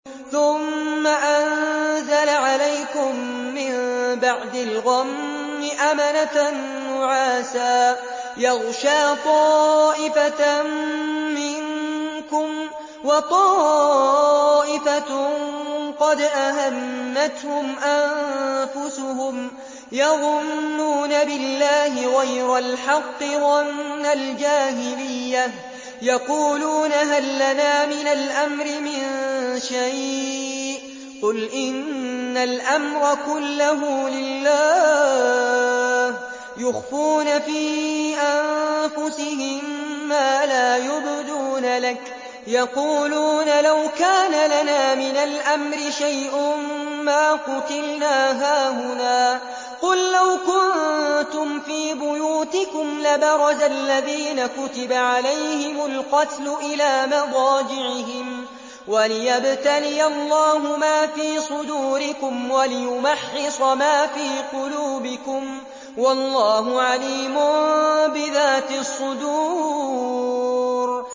ثُمَّ أَنزَلَ عَلَيْكُم مِّن بَعْدِ الْغَمِّ أَمَنَةً نُّعَاسًا يَغْشَىٰ طَائِفَةً مِّنكُمْ ۖ وَطَائِفَةٌ قَدْ أَهَمَّتْهُمْ أَنفُسُهُمْ يَظُنُّونَ بِاللَّهِ غَيْرَ الْحَقِّ ظَنَّ الْجَاهِلِيَّةِ ۖ يَقُولُونَ هَل لَّنَا مِنَ الْأَمْرِ مِن شَيْءٍ ۗ قُلْ إِنَّ الْأَمْرَ كُلَّهُ لِلَّهِ ۗ يُخْفُونَ فِي أَنفُسِهِم مَّا لَا يُبْدُونَ لَكَ ۖ يَقُولُونَ لَوْ كَانَ لَنَا مِنَ الْأَمْرِ شَيْءٌ مَّا قُتِلْنَا هَاهُنَا ۗ قُل لَّوْ كُنتُمْ فِي بُيُوتِكُمْ لَبَرَزَ الَّذِينَ كُتِبَ عَلَيْهِمُ الْقَتْلُ إِلَىٰ مَضَاجِعِهِمْ ۖ وَلِيَبْتَلِيَ اللَّهُ مَا فِي صُدُورِكُمْ وَلِيُمَحِّصَ مَا فِي قُلُوبِكُمْ ۗ وَاللَّهُ عَلِيمٌ بِذَاتِ الصُّدُورِ